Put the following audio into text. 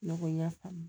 Ne ko n y'a faamu